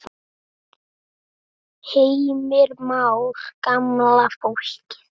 Heimir Már: Gamla fólkið?